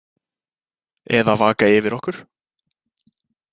Eða vaka yfir okkur.